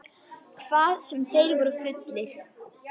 Hvað sem þeir voru fullir.